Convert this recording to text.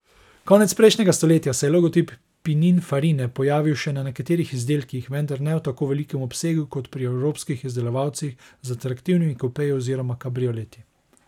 Konec prejšnjega stoletja se je logotip Pininfarine pojavil še na nekaterih izdelkih, vendar ne v tako velikem obsegu kot pri evropskih izdelovalcih z atraktivnimi kupeji oziroma kabrioleti.